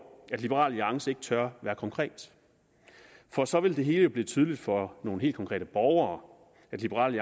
at liberal alliance ikke tør være konkret for så ville det jo blive tydeligt for nogle helt konkrete borgere at liberal